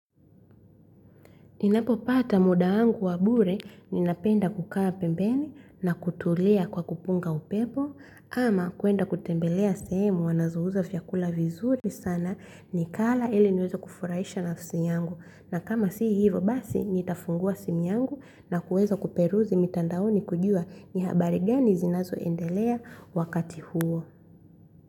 Ninapo pata muda wangu wa bure ninapenda kukaa pembeni na kutulia kwa kupunga upepo, ama kuenda kutembelea sehemu wanazouza vyakula vizuri sana, nikala ili niweze kufurahisha nafsi yangu. Na kama si hivo basi nitafungua simu yangu, na kuweza kuperuzi mitandaoni kujua ni habari gani zinazoendelea wakati huo.